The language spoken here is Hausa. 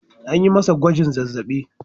An yi masa gwajin zazzabi.